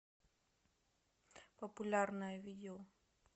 популярное видео